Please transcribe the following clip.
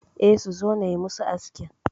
E, suzo nayi musu askin